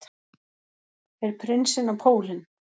Fer prinsinn á pólinn